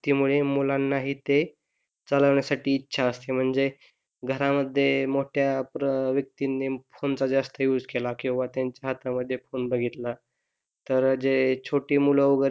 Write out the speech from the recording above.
मुलांना ही ते चालवण्यासाठी इच्छा असते म्हणजे घरामध्ये मोठ्या व्यक्तींनी फोनेचा जास्ती युझ केला किंवा त्यांच्या हातामध्ये फोन बघितला तर जे छोटी मुलं